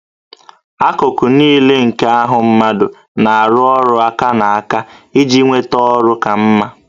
Akụkụ niile nke ahụ mmadụ na-arụ ọrụ aka na aka iji nweta ọrụ ka mma